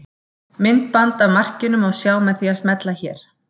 Myndband af markinu má sjá með því að smella hér